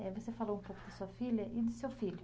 Você falou um pouco da sua filha e do seu filho.